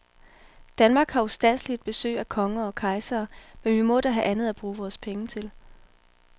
Danmark har ustandseligt besøg af konger og kejsere, men vi må da have andet at bruge vores penge til.